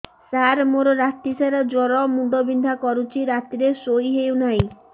ସାର ମୋର ରାତି ସାରା ଜ୍ଵର ମୁଣ୍ଡ ବିନ୍ଧା କରୁଛି ରାତିରେ ଶୋଇ ହେଉ ନାହିଁ